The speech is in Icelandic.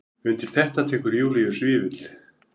Undir þetta tekur Júlíus Vífill.